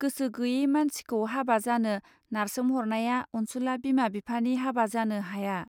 गोसो गैये मानसिखौ हाबा जानो नारसोम हरनाया अनसुला बिमा बिफानि हाबा जानो हाया